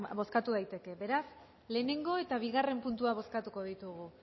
bozkatu daiteke beraz lehenengo eta bigarren puntuak bozkatuko ditugu